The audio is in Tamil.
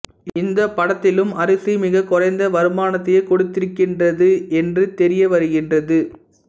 இந்தப் படத்திலும் அரிசி மிகக் குறைந்த வருமானத்தையே கொடுத்திருக்கின்றது என்று தெரிய வருகின்றது